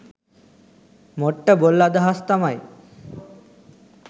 මොට්ට බොල් අදහස් තමයි.